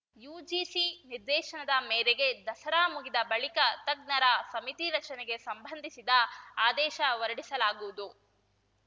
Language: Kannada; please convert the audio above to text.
ಯುಜಿಸಿ ನಿರ್ದೇಶನದ ಮೇರೆಗೆ ದಸರಾ ಮುಗಿದ ಬಳಿಕ ತಜ್ಞರ ಸಮಿತಿ ರಚನೆಗೆ ಸಂಬಂಧಿಸಿದ ಆದೇಶ ಹೊರಡಿಸಲಾಗುವುದು